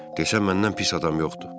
Desən məndən pis adam yoxdur.